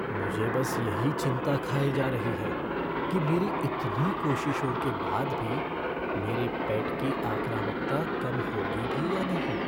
मुझे बस यही चिंता खाए जा रही है कि मेरी इतनी कोशिशों के बाद भी, मेरे पेट की आक्रामकता कम होगी भी या नहीं।